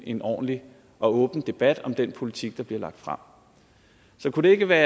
en ordentlig og åben debat om den politik der bliver lagt frem så kunne det ikke være